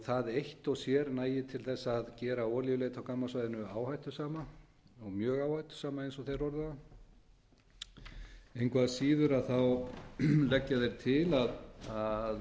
það eitt og sér nægir til þess að gera olíuleit á gammssvæðinu áhættusama og mjög áhættusama eins og þeir orða það engu að síður leggja þeir til að